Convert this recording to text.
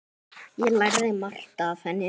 Ég lærði margt af henni.